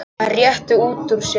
Hann rétti úr sér.